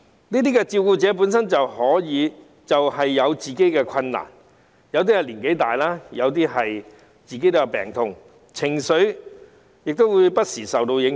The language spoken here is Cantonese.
這些照顧者本身也有自己的困難，有些年紀大，有些本身也有病痛，情緒亦不時會受到影響。